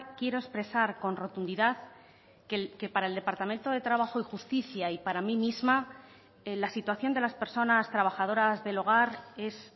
quiero expresar con rotundidad que para el departamento de trabajo y justicia y para mí misma la situación de las personas trabajadoras del hogar es